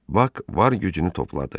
Bak var gücünü topladı.